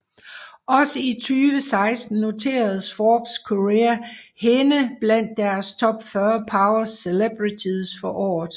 Også i 2016 noterede Forbes Korea hende blandt deres Top 40 Power Celebrities for året